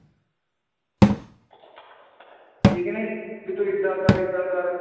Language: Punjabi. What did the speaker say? ਠੀਕ ਨੀ ਵੀ ਤੂੰ ਏਦਾਂ ਕਰ ਏਦਾਂ ਕਰ